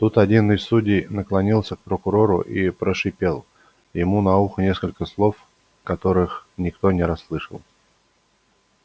тут один из судей наклонился к прокурору и прошипел ему на ухо несколько слов которых никто не расслышал